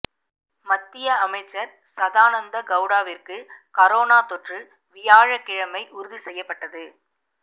மத்திய அமைச்சர் சதானந்த கெளடாவிற்கு கரோனா தொற்று வியாழக்கிழமை உறுதி செய்யப்பட்டது